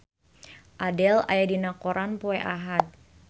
Adele aya dina koran poe Ahad